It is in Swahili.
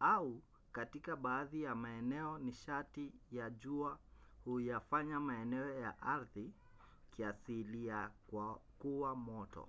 au katika baadhi ya maeneo nishati ya jua huyafanya maeneo ya ardhi kiasilia kuwa moto